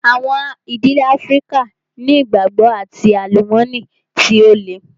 Àwọn ìdílé Áfríkà ni ìgbàgbọ́ and àlùmọ́nì tí ó le.